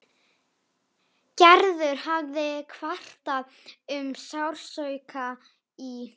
Gerður hafði kvartað um sársauka í.